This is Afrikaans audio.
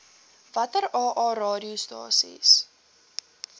watter aa radiostasies